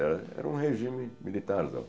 Era era um regime militarzão.